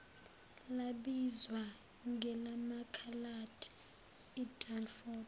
labizwa ngelamakhaladi idunford